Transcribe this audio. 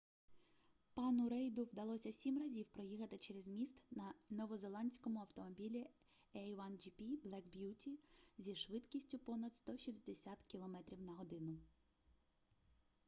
пану рейду вдалося 7 разів проїхати через міст на новозеландському автомобілі a1gp black beauty зі швидкістю понад 160 км/год